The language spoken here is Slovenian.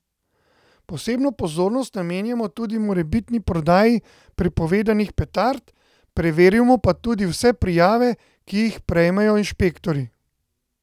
Posebno pozornost namenjamo tudi morebitni prodaji prepovedanih petard, preverimo pa tudi vse prijave, ki jih prejmejo inšpektorji.